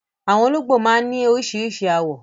Àwọn olóńgbò máa ń ní oríṣiríṣi àwọ̀